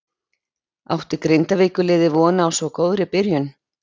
Átti Grindavíkur liðið von á svo góðri byrjun?